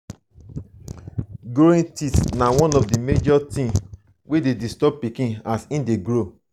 growing teeth na one of the major thing wey de disturb pikin as him de grow